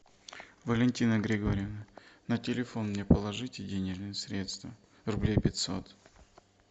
валентина григорьевна на телефон мне положите денежные средства рублей пятьсот